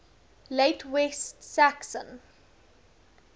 late west saxon